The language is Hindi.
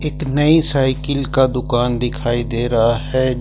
एक नई साइकिल का दुकान दिखाई दे रहा है।